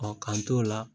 k'an t'o la